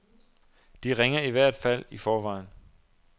De ringer i hvert fald i forvejen.